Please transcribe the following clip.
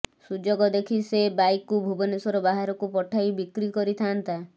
ସୁଯୋଗ ଦେଖି ସେ ବାଇକ୍କୁ ଭୁବନେଶ୍ବର ବାହାରକୁ ପଠାଇ ବିକ୍ରି କରିଥାଆନ୍ତା